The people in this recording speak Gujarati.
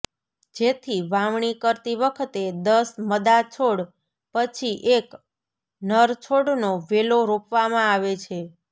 જેથી વાવણી કરતી વખતે દસ મદા છોડ પછી એક નર છોડનો વેલો રોપવામાં આવે છે